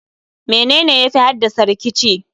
menene yafi haddasa rikici?